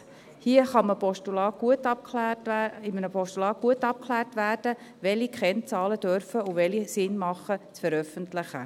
Hier kann in einem Postulat gut abgeklärt werden, welche Kennzahlen veröffentlicht werden dürfen, und bei welchen es Sinn macht, sie zu veröffentlichen.